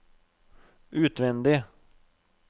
utvendig